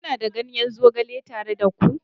Kuna da ganyen zogale tare da ku?